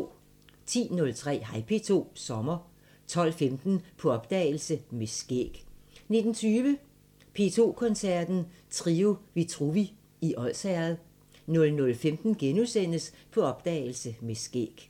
10:03: Hej P2 – Sommer 12:15: På opdagelse – Med skæg 19:20: P2 Koncerten – Trio Vitruvi i Odsherred 00:15: På opdagelse – Med skæg *